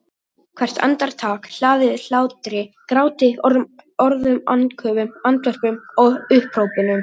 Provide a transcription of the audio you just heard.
Hvert andartak hlaðið hlátri gráti orðum andköfum andvörpum upphrópunum.